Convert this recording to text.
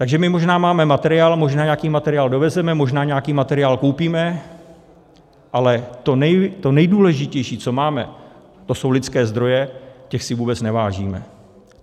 Takže my možná máme materiál, možná nějaký materiál dovezeme, možná nějaký materiál koupíme, ale to nejdůležitější, co máme, to jsou lidské zdroje, těch si vůbec nevážíme.